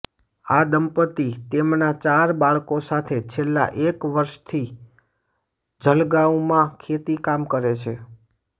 આ દંપતી તેમના ચાર બાળકો સાથે છેલ્લા એક વર્ષથી જલગાંવમાં ખેતીકામ કરે છે